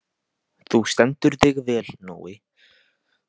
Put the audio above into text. Þú stendur þig vel, Nói!